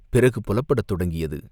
பிறகு புலப்படத் தொடங்கியது.